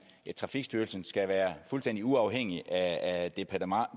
trafikstyrelsen skal være fuldstændig uafhængig af departementet og